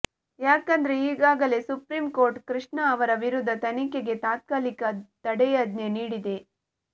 ಯಾಕಂದ್ರೆ ಈಗಾಗಲೇ supreme court Krishna ಅವರ ವಿರುದ್ಧ ತನಿಖೆಗೆ ತಾತ್ಕಾಲಿಕ ತಡೆಯಾಜ್ಞೆ ನೀಡಿದೆ